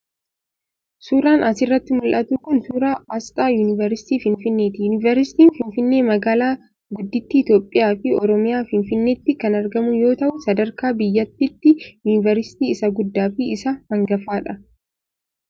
Suuraan as irratti mul'atu kun suuraa asxaa Yuunivarsiitii Finfinnee ti. Yuunivarsiitiin Finfinnee magaalaa guddittii Itoophiyaa fi Oromiyaa ,Finfinneetti, kan argamu yoo ta'u sadarkaa biyyattiitti yuunivarsiitii isa guddaa fi isa hangafa dha